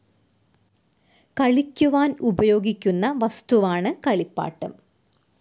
കളിക്കുവാൻ ഉപയോഗിക്കുന്ന വസ്തുവാണ് കളിപ്പാട്ടം.